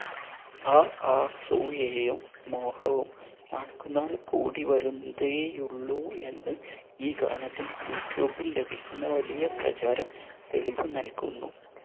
ആ ആസൂയയും മോഹവും നാൾക്കുനാൾ കൂടി വരുന്നതേയുള്ളൂ എന്ന് ഈ ഗാനത്തിന് യൂട്യൂബിൽ ലഭിക്കുന്ന വലിയ പ്രചാരം തെളിവു നൽകുന്നു